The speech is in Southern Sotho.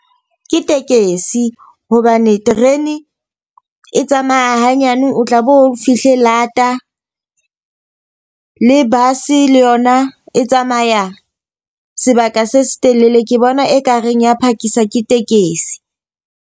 Ke tekesi hobane terene e tsamaya hanyane o tla bo fihle lata. Le bus le yona e tsamaya sebaka se se telele. Ke bona e ka reng ya phakisa ke tekesi.